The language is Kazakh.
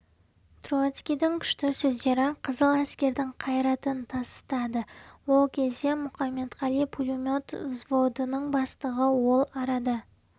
троцкийдің күшті сөздері қызыл әскердің қайратын тасытады ол кезде мұқаметқали пулемет взводының бастығы ол арада